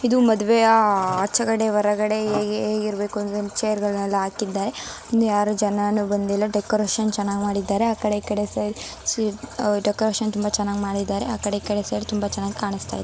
ಇದು ಮದುವೆ ಆ- ಆಚಕಡೆ ಹೊರಗಡೆ ಹೇ-ಹೇಗಿರ್ಬೇಕು ಅಂದ್ರೆ ಚೇರ್ ಗಳನೆಲ್ಲ ಹಾಕಿದ್ದಾರೆ ಇನ್ನು ಯಾರು ಜನನು ಬಂದಿಲ್ಲ ಡೆಕೋರೇಷನ್ ಚೆನ್ನಾಗ್ ಮಾಡಿದ್ದಾರೆ ಆಕಡೆ ಇಕಡೆ ಸೈಡ್ ಡೆಕೋರೇಷನ್ ತುಂಬ ಚೆನ್ನಾಗ್ ಮಾಡಿದ್ದಾರೆ ಆಕಡೆ ಈ ಕಡೆ ಸೈಡ್ ತುಂಬ ಚೆನ್ನಾಗ್ ಕಾಣುಸ್ತಾಯಿದೆ.